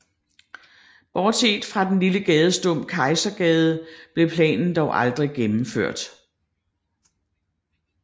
Bortset fra den lille gadestump Kejsergade blev planen dog aldrig gennemført